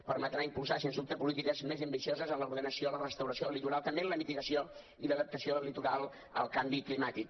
permetrà impulsar sens dubte polítiques més ambicioses en l’ordenació la restauració del litoral també en la mitigació i l’adaptació del litoral al canvi climàtic